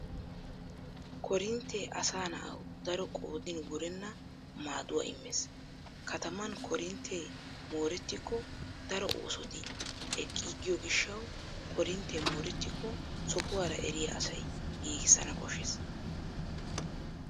Korinttee asa nawu daro qoodin wurenna maaduwa immees. Kataman korintte moorettikko daro oosoti eqqiiggiyo gishshawu korinttee moorettikko sohuwara eriya asay giigissana koshshees.